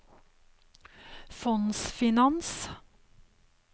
fondsfinans